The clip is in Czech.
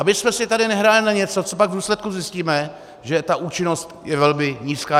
Abychom si tady nehráli na něco, co pak v důsledku zjistíme, že ta účinnost je velmi nízká.